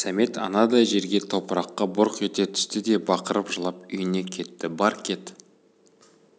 сәмет анадай жерге топыраққа бұрқ ете түсті де бақырып жылап үйіне кетті бар кет